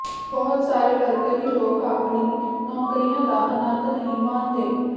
ਬਹੁਤ ਸਾਰੇ ਵਰਕਹੀਲੋਕ ਆਪਣੀ ਨੌਕਰੀਆਂ ਦਾ ਆਨੰਦ ਨਹੀਂ ਮਾਣਦੇ